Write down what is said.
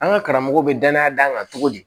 An ka karamɔgɔw be danaya d'an kan togo di